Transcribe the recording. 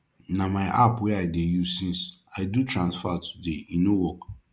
na my app wey i dey use since i do transfer today e no work